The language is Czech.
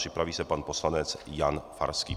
Připraví se pan poslanec Jan Farský.